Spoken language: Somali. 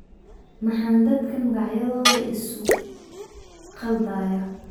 Maxaan dadka magacyadooda ii sugu khaldayaa?